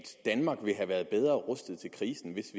danmark ville have været bedre rustet til krisen hvis